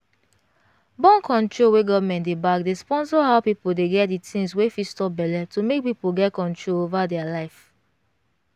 born-control wey government dey back dey sponsor how people dey get the things wey fit stop belle to make peopl get control over their life